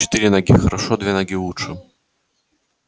четыре ноги хорошо две ноги лучше